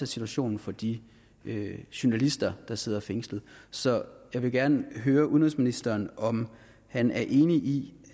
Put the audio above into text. situationen for de journalister der sidder fængslet så jeg vil gerne høre udenrigsministeren om han er enig i